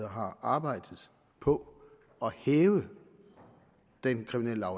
har arbejdet på at hæve den kriminelle